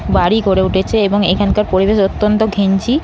বাড়ি গড়ে উঠেছে এবং এখানকার পরিবেশ অত্যন্ত ঘিঞ্জি।